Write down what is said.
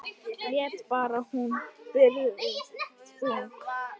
Létt ber hún byrðina þungu.